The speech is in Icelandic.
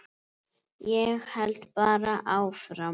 Ég held bara áfram.